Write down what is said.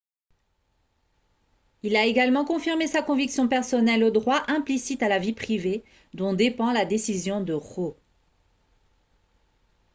il a également confirmé sa conviction personnelle au droit implicite à la vie privée dont dépend la décision de roe